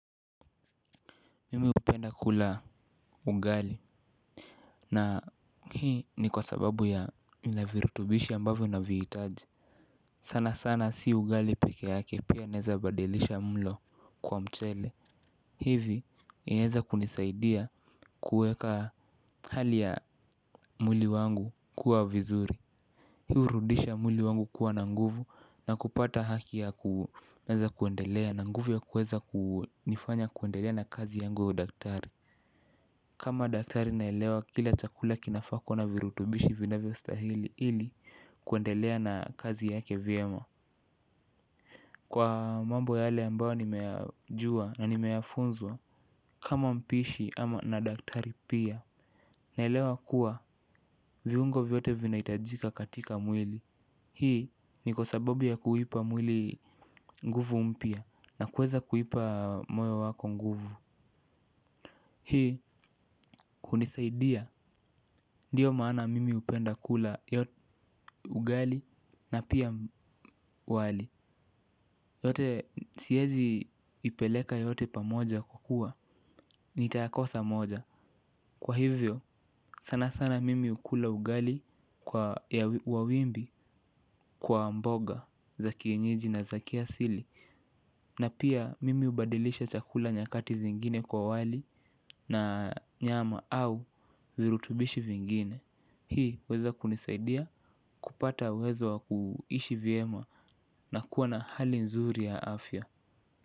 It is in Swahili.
Mimi hupenda kula ugali. Na hii ni kwa sababu ya ina virutubishi ambavyo naviitaji sana sana si ugali peke yake pia naeza badilisha mlo kwa mchele. Hivi inaweza kunisaidia kuweka hali ya mwili wangu kuwa vizuri. Hii hurudisha mwili wangu kuwa nanguvu na kupata haki ya kuweza kuendelea. Nanguvu ya kuweza kunifanya kuendelea na kazi yangu ya udaktari kama daktari naelewa kila chakula kinafaa kuwa na virutubishi vinavyo stahili ili kuendelea na kazi yake vyema kwa mambo yale ambayo nimeyajua nimefunzwa kama mpishi ama na daktari pia naelewa kuwa viungo vyote vinahitajika katika mwili. Hii ni kwa sababu ya kuipa mwili nguvu mpya na kuweza kuipa moyo wako nguvu. Hii hunisaidia, ndio maana mimi hupenda kula ugali na pia wali. Yote siwezi ipeleka yote pamoja kukua, nitakosa moja. Kwa hivyo, sana sana mimi hukula ugali wa wimbi kwa mboga za kienyeji na za kiasili. Na pia mimi hubadilisha chakula nyakati zingine kwa wali na nyama au virutubishi vingine. Hii huweza kunisaidia, kupata uwezo wakuishi vyema na kuwa na hali nzuri ya afya.